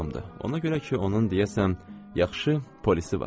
Ona görə ki, onun deyəsən yaxşı polisi var.